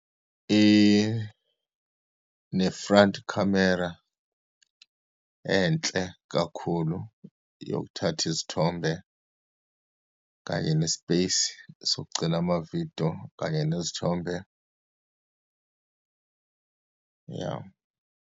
Ine-front camera enhle kakhulu yokuthatha izithombe, kanye ne-space sokugcina amavidiyo kanye nezithombe, iya.